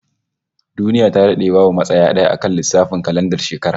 Duniya ta dade babu matsaya d'aya akan lissafin kalandar shekara